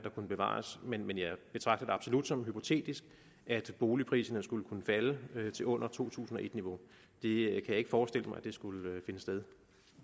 kunne bevares men jeg betragter det absolut som hypotetisk at boligpriserne skulle kunne falde til under to tusind og et niveau det kan jeg ikke forestille mig skulle finde sted